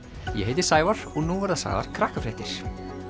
ég heiti Sævar og nú verða sagðar